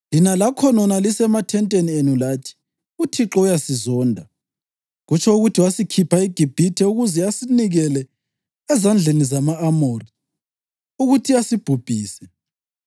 Lina lakhonona lisemathenteni enu lathi, ‘ UThixo uyasizonda; kutsho ukuthi wasikhipha eGibhithe ukuze asinikele ezandleni zama-Amori ukuthi asibhubhise.